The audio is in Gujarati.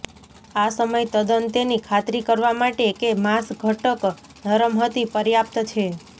આ સમય તદ્દન તેની ખાતરી કરવા માટે કે માંસ ઘટક નરમ હતી પર્યાપ્ત છે